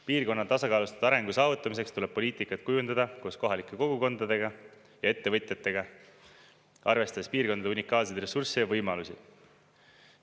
Piirkonna tasakaalustatud arengu saavutamiseks tuleb poliitikat kujundada koos kohalike kogukondadega ja ettevõtjatega, arvestades piirkondade unikaalseid ressursse ja võimalusi.